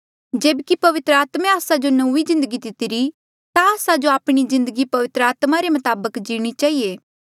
जेब्की पवित्र आत्मे आस्सा जो नौंईं जिन्दगी दितिरी ता आस्सा जो आपणी जिन्दगी पवित्र आत्मा रे मताबक जीणी चहिए